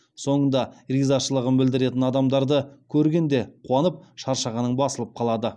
соңында ризашылығын білдіретін адамдарды көргенде қуанып шаршағаның басылып қалады